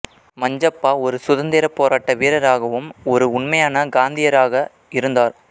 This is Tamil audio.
மஞ்சப்பா ஒரு சுதந்திர போராட்ட வீரராகவும் ஒரு உண்மையான காந்தியராக இருந்தார்